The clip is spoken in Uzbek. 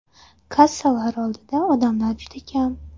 Kassalar oldida odamlar juda kam.